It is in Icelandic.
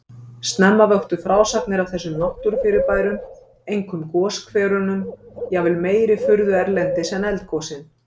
Snemma vöktu frásagnir af þessum náttúrufyrirbærum, einkum goshverunum, jafnvel meiri furðu erlendis en eldgosin.